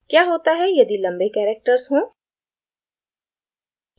क्या होता है यदि लम्बे characters हों